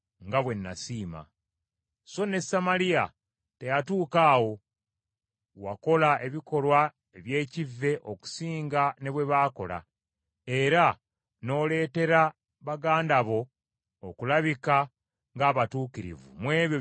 So ne Samaliya teyatuuka awo; wakola ebikolwa eby’ekivve okusinga ne bwe baakola, era n’oleetera baganda bo okulabika ng’abatuukirivu mu ebyo byonna by’okola.